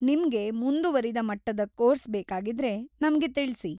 ನಿಮ್ಗೆ ಮುಂದುವರಿದ ಮಟ್ಟದ ಕೋರ್ಸ್‌ ಬೇಕಾಗಿದ್ರೆ, ನಮ್ಗೆ ತಿಳ್ಸಿ.